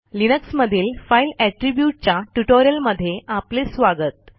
Linux मधील file Attributeच्या ट्युटोरियलमध्ये आपले स्वागत